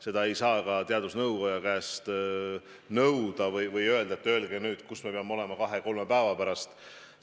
Seda ei saa ka teadusnõukogu käest nõuda, et öelge nüüd, kus me peame olema kahe-kolme päeva pärast.